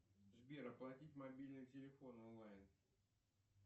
сбер оплатить мобильный телефон онлайн